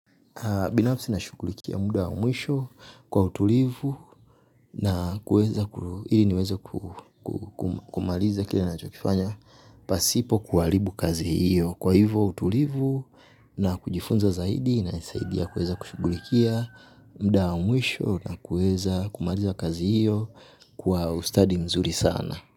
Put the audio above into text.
Binafsi nashughulikia muda wa mwisho kwa utulivu na kuweza kumaliza kile ninachokifanya pasipo kuharibu kazi hiyo. Kwa hivyo utulivu na kujifunza zaidi inanisaidia kuweza kushughulikia muda wa mwisho na kuweza kumaliza kazi hiyo kwa ustadi mzuri sana.